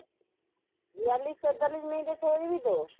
বিয়াল্লিশ তেতাল্লিশ মিনিট এ ছেড়ে দিবি তো?